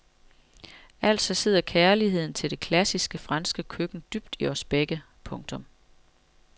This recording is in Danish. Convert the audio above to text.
Altså sidder kærligheden til det klassiske franske køkken dybt i os begge. punktum